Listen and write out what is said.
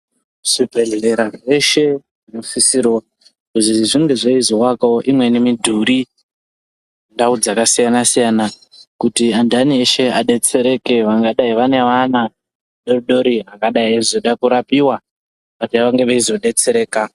Zvibhedhleya zveshe zvinosisirawo kuzi zvinge zveizoakawo imweni midhuri, ndau dzakasiyana-siyana kuti antani eshe adetsereke vangadai vane ana adodori angadai eizoda kuzorapiwa kuti vange veitodetsereka.